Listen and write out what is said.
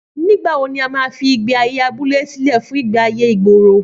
Nígbàwo ní a ma fí ìgbé ayé abúlé sílẹ̀ fún ìgbé ayé ìgboro